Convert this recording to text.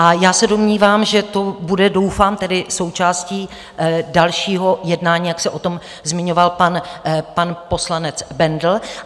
A já se domnívám, že to bude, doufám tedy, součástí dalšího jednání, jak se o tom zmiňoval pan poslanec Bendl.